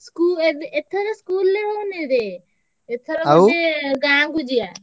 ସ୍କୁ~ ଏ~ ଏଥରେ school ରେ ହେଇନିରେ। ଏଥର କ~ ସେ ଗାଁକୁ ଯିବା।